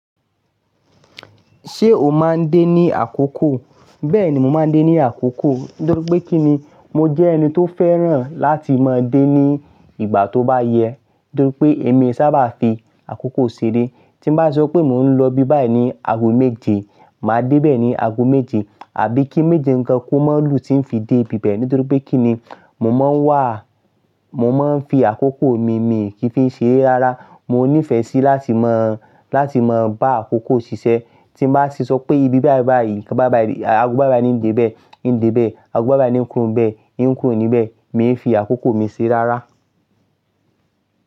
Ṣé o máa ń dé ní àkókò? Bẹ́ẹ̀ni, mo máa ń dé ní àkókò. Nítorí pé kí ni? Mo jẹ́ ẹni tó fẹ́ràn láti máa dé ní ìgbà tó bá yẹ. Nítorí pé èmi sábà fi àkókò ṣeré. Tí bá sọ pé mò ń lọ ibi báyìí ní ago méje, màá dé bẹ́ẹ̀ ní ago méje. Àbí kí méje ǹ gan kó má lù tí ń fi dé ibi bẹ́ẹ̀. Nítorí pé kí ni? Mo máa ń wà, mo máa ń fi àkókò mi, mì kí n fi ń ṣeré rárá. Mo nífẹ̀ẹ́ sí láti mọ, láti mọ bá àkókò ṣiṣẹ́. Tí bá ṣe sọ pé ibi báyìí báyìí, nkan báyìí báyìí, ago báyìí báyìí ń dé bẹ́ẹ̀, ń dé bẹ́ẹ̀, ago báyìí báyìí ń kúrò níbẹ̀, ń kúrò níbẹ̀. Mi ń fi àkókò mi ṣere rárá.